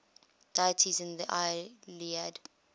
deities in the iliad